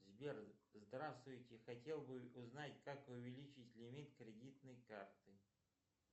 сбер здравствуйте хотел бы узнать как увеличить лимит кредитной карты